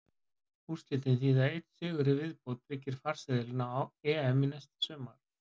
Úrslitin þýða að einn sigur í viðbót tryggir farseðilinn á EM næsta sumar.